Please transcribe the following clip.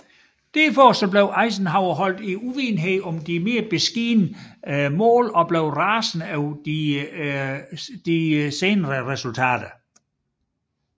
Dermed blev Eisenhower holdt i uvidenhed om de mere beskedne mål og blev rasende over de senere resultater